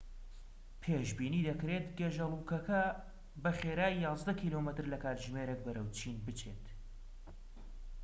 پێشبینی دەکرێت گێژەلووکە بە خێرایی یازدە کیلۆمەتر لە کاتژمێرێک بەرەو چین بچێت